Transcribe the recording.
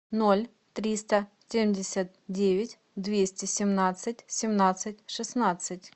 ноль триста семьдесят девять двести семнадцать семнадцать шестнадцать